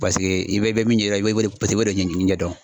Paseke i bɛ min ɲɛ i bɛ min ɲɛ dɔn paseke i b'o de ɲɛɲini ɲɛdɔn